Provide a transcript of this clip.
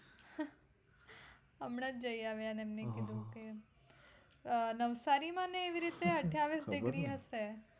હમણાં જ જઈ આવ્યા મેં કીધું કે અમ નવસારી માં મેં એવી રીતે અઠ્ઠાવીસ degree હશે.